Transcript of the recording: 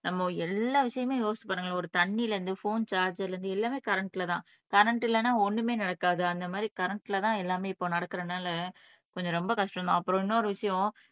நம்ம எல்லா விஷயமுமே யோசிச்சு பாருங்களேன் ஒரு தண்ணியில இருந்து போன் சார்ஜ்ர்ல இருந்து எல்லாமே கரண்ட்லதான் கரண்ட் இல்லைன்னா ஒண்ணுமே நடக்காது அந்த மாதிரி கரண்ட்லதான் எல்லாமே இப்ப நடக்கறதுனால கொஞ்சம் ரொம்ப கஷ்டம்தான் அப்புறம் இன்னொரு விஷயம்